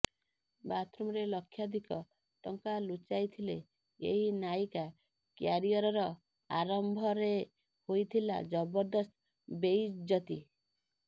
ବାଥରୁମରେ ଲକ୍ଷାଧିକ ଟଙ୍କା ଲୁଚାଇଥିଲେ ଏହି ନାୟିକା କ୍ୟାରିୟରର ଆରମ୍ଭରେ ହୋଇଥିଲା ଜବରଦସ୍ତ ବେଇଜ୍ଜତି